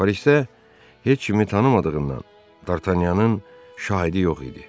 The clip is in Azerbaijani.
Parisdə heç kimi tanımadığından Dartanyanın şahidi yox idi.